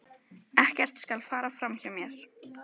Ekkert skal fara fram hjá mér.